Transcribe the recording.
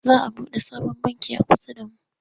Za a buɗe sabon banki a kusa da mu.